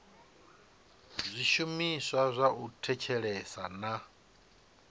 zwishumiswa zwa u thetshelesa na